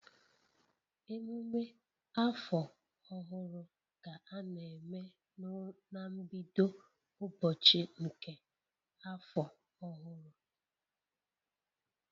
Emume afọ ọhụrụ ka a na-eme na mbido ụbọchị nke afọ ọhụrụ